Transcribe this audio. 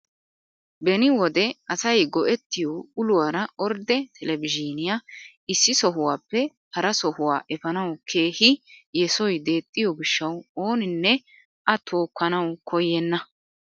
Beni wode asay go"ettiyoo uluwaara ordde telebizhiniyaa issi sohuwaappe hara sohwaa epaanawu keehi yesoy deexxiyoo gishshawu oninne a tookkanawu koyenna!